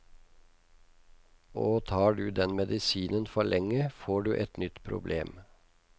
Og tar du den medisinen for lenge, får du et nytt problem.